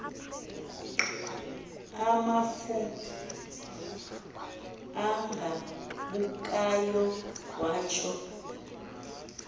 amafu agabukayo watsho